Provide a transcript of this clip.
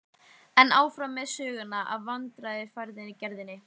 En áfram með söguna af veiðarfæragerðinni.